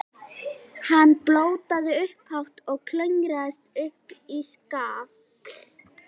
Frá hjarnjöklum ganga venjulega miklar jökultungur sem nefnast skriðjöklar.